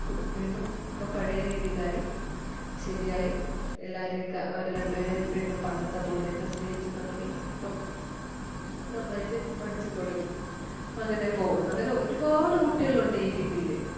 വീണ്ടും ഇപ്പം പഴേ രീതിയിൽ ആയി ശെരി ആയി എല്ലാരേം ഒക്കെ അവരെ രണ്ടുപേരേം വീണ്ടും പണ്ടത്തെ പോലെ ഒക്കെ സ്നേഹിച്ച് തൊടങ്ങി ഇപ്പം നന്നായിട്ട് പഠിച്ച് തൊടങ്ങി അങ്ങനെ പോകുന്നു. അങ്ങനെ ഒരുപാട് കുട്ടികൾ ഉണ്ട് ഈ രീതില്